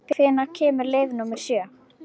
Tara, hvenær kemur leið númer sjö?